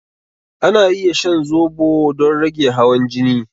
Ana iya shan zobo don rage hawan jini